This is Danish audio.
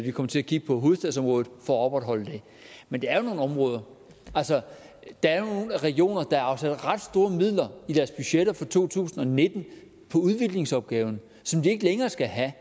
vi kommer til at kigge på hovedstadsområdet for at opretholde det men der er jo nogle områder altså der er jo nogle regioner der har afsat ret store midler i deres budgetter for to tusind og nitten på udviklingsopgaven som de ikke længere skal have